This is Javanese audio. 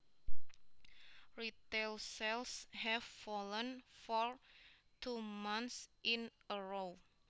Retail sales have fallen for two months in a row